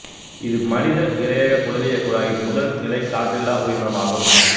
இது மனித இரையக குடலியக் குழாயின் முதல் நிலை காற்றில்லா உயிரினமாகும்